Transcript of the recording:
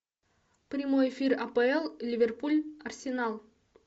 прямой эфир апл ливерпуль арсенал